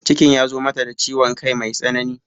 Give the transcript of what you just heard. Cikin ya zo mata da ciwon kai mai tsanani